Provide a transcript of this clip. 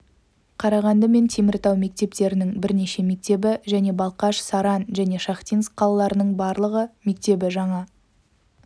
қарағанды мен теміртау мектептерінің бірнеше мектебі және балқаш саран және шахтинск қалаларының барлық мектебі жаңа